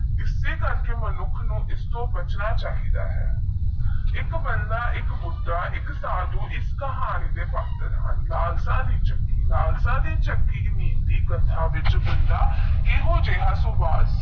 ਇਸਦੇ ਕਰਕੇ ਮਨੁੱਖ ਨੂੰ ਐਸਟੋਹ ਬਚਨਾ ਚਾਹੀਦਾ ਹੈ ਏਕ ਪਾਂਡਾ ਏਕ ਬੁੜੇ ਏਕ ਸਾਦੂ ਈਐੱਸਐੱਸ ਕਹਿਣੀ ਦੇ ਵੱਟ ਸਾਲਸਾ ਦੀ ਕਹਾਣੀ ਕਥਾ